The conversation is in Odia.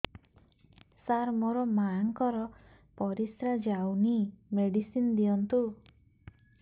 ସାର ମୋର ମାଆଙ୍କର ପରିସ୍ରା ଯାଉନି ମେଡିସିନ ଦିଅନ୍ତୁ